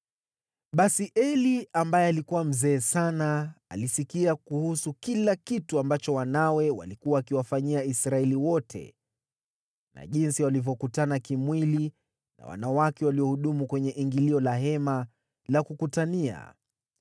Basi Eli, ambaye alikuwa mzee sana, alisikia kuhusu kila kitu ambacho wanawe walikuwa wakiwafanyia Israeli wote na jinsi walivyokutana kimwili na wanawake waliohudumu kwenye ingilio la Hema la Kukutania.